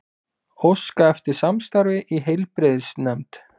Óska eftir samstarfi í heilbrigðisnefnd